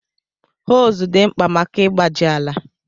Hoes dị mkpa maka ịgbaji ala.